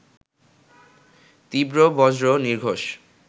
তীব্র বজ্র নির্ঘোষ